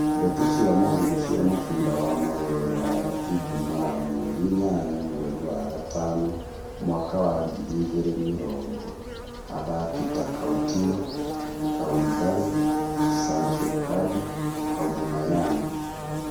Ndeto cia mũhuhu cia mũbira wa magũrũ Rũraya ijumaa mweri inyanya mweri wa gatano mwaka wa ngiri igĩrĩ mĩrongo athaki ta Countinho, Koulibaly, Sancho Icardi Aubameyang